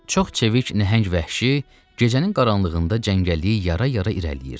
Çox çevik nəhəng vəhşi gecənin qaranlığında cəngəlliyi yara-yara irəliləyirdi.